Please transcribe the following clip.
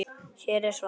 Hér er svarið.